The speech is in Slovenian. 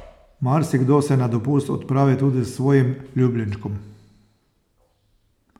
Marsikdo se na dopust odpravi tudi s svojim ljubljenčkom.